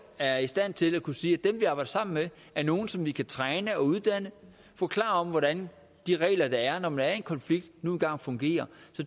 er i stand til at kunne sige at dem vi arbejder sammen med er nogle som vi kan træne uddanne og forklare hvordan de regler der er når man er i en konflikt fungerer